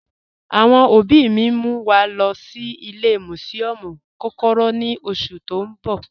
Awọn ọbì mì n mú wa lọ́ sí ìlẹ̀ musiọmu kọ́kọ́rọ́ ní oṣù tí n bọ̀